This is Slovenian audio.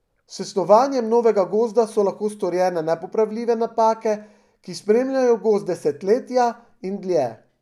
S snovanjem novega gozda so lahko storjene nepopravljive napake, ki spremljajo gozd desetletja in dlje.